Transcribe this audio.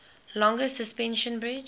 longest suspension bridge